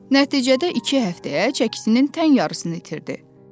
Nəticədə iki həftəyə çəkisinin tən yarısını itirdi.